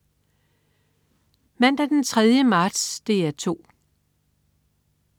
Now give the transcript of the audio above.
Mandag den 3. marts - DR 2: